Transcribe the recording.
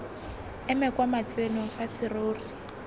eme kwa matsenong fa serori